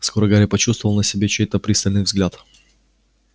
скоро гарри почувствовал на себе чей-то пристальный взгляд